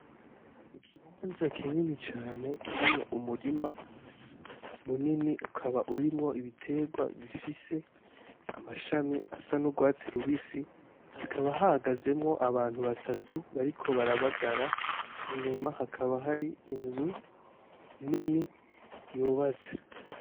Ikibanza kinini cane kirimwo umurima munini ukaba urimwo ibiterwa bifise amashami asa n'urwatsi rubisi hakaba hagazemwo abantu batatu bariko barabagara inyuma hakaba hari inzu nini yubaze.